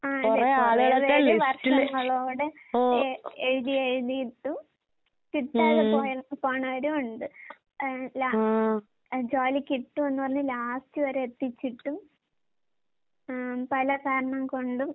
ആഹ് അതെ കൊറേ പേര് വർഷങ്ങളോടെ എ എഴുതി എഴുതിയിട്ടും കിട്ടാതെ പോയ പോണവരുവൊണ്ട്. ഏഹ് ലാ അഹ് ജോലി കിട്ടൂന്ന് പറഞ്ഞ് ലാസ്റ്റ് വരെ എത്തിച്ചിട്ടും ആം പല കാരണം കൊണ്ടും